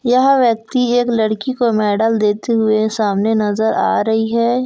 यह व्यक्ति एक लड़की को मेडल देते हुए सामने नज़र आ रही है।